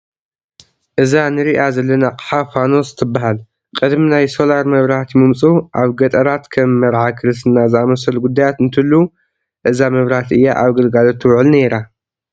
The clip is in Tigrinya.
እዛ ንሪአ ዘለና ኣቕሓ ፋኖስ ትበሃል፡፡ ቅድሚ ናይ ሶላር መብራህቲ ምምፅኡ ኣብ ገጠራት ከም መርዓ ክርስትና ዝኣምሰሉ ጉዳያት እንትህልዉ እዛ መብራህቲ እያ ኣብ ግልጋሎት ትውዕል ነይራ፡፡